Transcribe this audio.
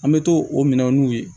An bɛ to o minɛn n'u ye